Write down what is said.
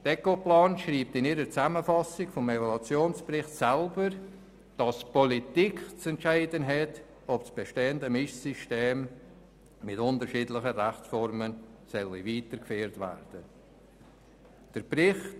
Ecoplan schreibt in ihrer Zusammenfassung des Evaluationsberichts, dass die Politik zu entscheiden habe, ob das bestehende Mischsystem mit unterschiedlichen Rechtsformen weitergeführt werden soll.